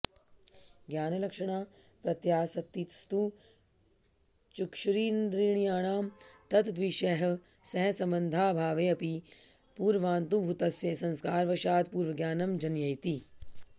ज्ञानलक्षणा प्रत्यासत्तिस्तु चक्षुरिन्द्रियाणां तत्तद्विषयैः सह सम्बन्धाभावेऽपि पूर्वानुभूतस्य संस्कारवशाद् पुनर्ज्ञानं जनयति